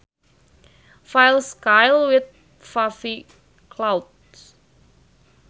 File Sky with puffy clouds